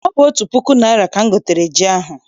Ọ bụ otu puku naịra ka m gotere ji ahụ.